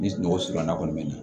Ni sunɔgɔ surunna kɔni bɛ ɲɛ